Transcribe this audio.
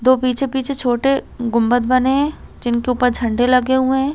दो पीछे-पीछे छोटे गुम्बद बने है जिनके ऊपर झण्डे लगे हुए हैं ।